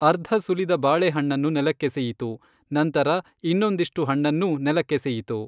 ಅರ್ಧ ಸುಲಿದ ಬಾಳೆಹಣ್ಣನ್ನು ನೆಲಕ್ಕೆಸೆಯಿತು, ನಂತರ ಇನ್ನೊಂದಿಷ್ಟು ಹಣ್ಣನ್ನೂ ನೆಲಕ್ಕೆಸೆಯಿತು.